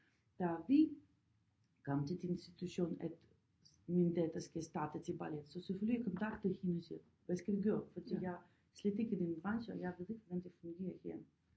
Da vi kom til den situation at min datter skal starte til ballet så selvfølgelig jeg kontakter hende og siger hvad skal vi gøre for jeg slet ikke i den branche og jeg ved ikke hvordan det fungerer her